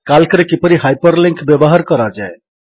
କାଲ୍କରେ କିପରି ହାଇପରଲିଙ୍କ୍ ବ୍ୟବହାର କରାଯାଏ